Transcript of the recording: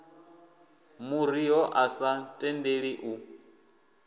ḓuriho a sa tendeli u